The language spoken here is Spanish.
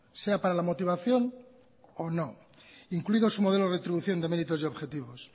sea para la motivación o no incluido su modelo de retribución de méritos y objetivos